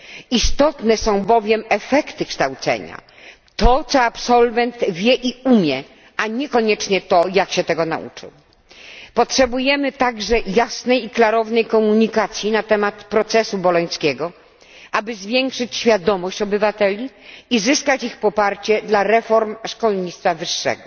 Istotne są bowiem efekty kształcenia to, co absolwent wie i umie, a nie koniecznie to, jak się tego nauczył. Potrzebujemy także jasnej i klarownej komunikacji na temat procesu bolońskiego, aby zwiększyć świadomość obywateli i zyskać ich poparcie dla reform szkolnictwa wyższego.